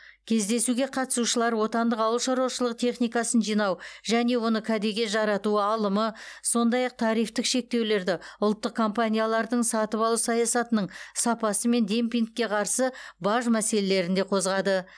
кездесуге қатысушылар отандық ауыл шаруашылығы техникасын жинау және оны кәдеге жарату алымы сондай ақ тарифтік шектеулерді ұлттық компаниялардың сатып алу саясатының сапасы мен демпингке қарсы баж мәселелерін де қозғады